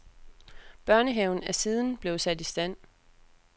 Børnehaven er siden blevet sat i stand.